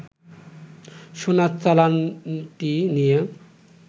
সোনার চালানটি নিয়ে